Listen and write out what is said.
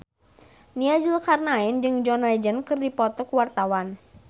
Nia Zulkarnaen jeung John Legend keur dipoto ku wartawan